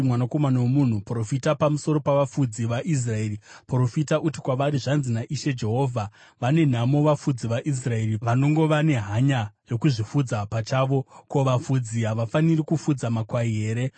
“Mwanakomana womunhu, profita pamusoro pavafudzi vaIsraeri; profita uti kwavari, ‘Zvanzi naIshe Jehovha: Vane nhamo vafudzi vaIsraeri vanongova nehanya yokuzvifudza pachavo! Ko, vafudzi havafaniri kufudza makwai here?